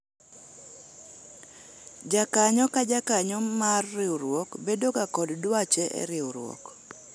jakanyo ka jakanyo mar riwruok bedo ga kod dwache e riwruok